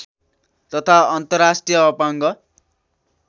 तथा अन्तर्राष्ट्रिय अपाङ्ग